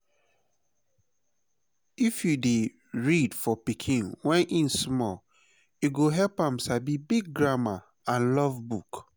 if u dey read for pikin when e small e go help am sabi big grammar and love book.